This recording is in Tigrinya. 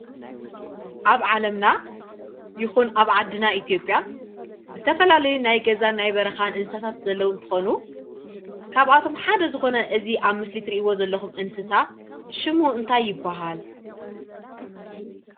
ኣብ ዓለምና ይኩን ኣብ ዓድና ኢትዮጵያ ዝተፈላለዩ ናይ ገዛን ናይ በረካን እንስሳት ዘለዉ እንትኾኑ ካብኣቶም ሓደ ዝኮነ እዚ ኣብ ምስሊ እትሪእዎ ዘለኹም እንስሳ ሽሙ እንታይ ይባሃል?